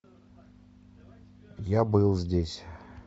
я был здесь